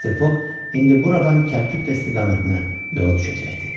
Mister Foq indi buradan Kəlküttə istiqamətinə yola düşəcəkdi.